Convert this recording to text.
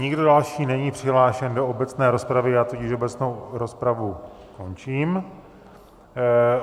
Nikdo další není přihlášen do obecné rozpravy, já tudíž obecnou rozpravu končím.